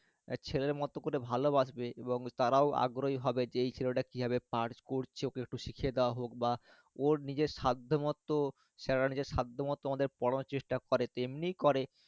ছেলের মতো করে ভালোবাসবে এবং তারাও আগ্রহী হবে যে ছেলেটা কিভাবে পার~ করছে ওকে একটু শিখিয়ে দেওয়া হোক বা ওর নিজের সাধ্য মতো sir রা নিজের সাধ্য মতো আমাদের পড়ানোর চেষ্টা করে, তো এমনি করে